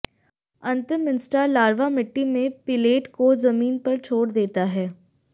अंतिम instar larva मिट्टी में पिलेट को जमीन पर छोड़ देता है